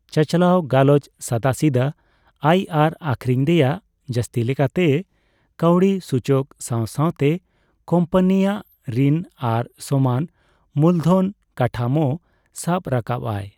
ᱪᱟᱪᱟᱞᱟᱣ ᱜᱟᱞᱚᱪ ᱥᱟᱫᱟᱥᱤᱫᱟᱹ ᱟᱭ ᱟᱨ ᱟᱠᱷᱨᱤᱧ ᱨᱮᱭᱟᱜ ᱡᱟᱹᱥᱛᱤ ᱞᱮᱠᱟᱛᱮᱭ ᱠᱟᱹᱣᱰᱤ ᱥᱩᱪᱚᱠ ᱥᱟᱸᱣ ᱥᱟᱸᱣᱛᱮ ᱠᱳᱢᱯᱟᱱᱤ ᱟᱜ ᱨᱤᱱ ᱟᱨ ᱥᱚᱢᱟᱱ ᱢᱩᱞᱫᱷᱚᱱ ᱠᱟᱴᱷᱟᱢᱳ ᱥᱟᱵ ᱨᱟᱠᱟᱵ ᱟᱭ ᱾